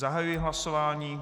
Zahajuji hlasování.